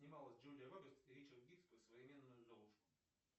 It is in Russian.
снималась джулия робертс и ричард гир про современную золушку